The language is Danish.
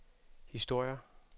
historier